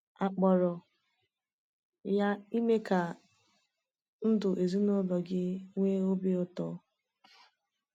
A kpọrọ ya Ime Ka Ndu Ezinụlọ Gị Nwee Obi Ụtọ.